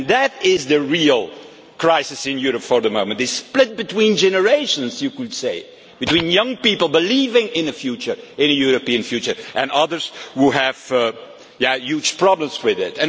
That is the real crisis in Europe for the moment, this split between generations, you could say, between young people believing in a European future and others who have huge problems with it.